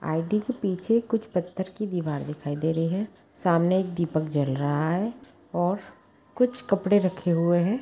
बाल्टी के पीछे कुछ पत्थर की दीवार दिखाई दे रही है । सामने एक दीपक जल रहा है और कुछ कपड़े रखे हुए हैं |